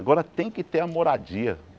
Agora tem que ter a moradia.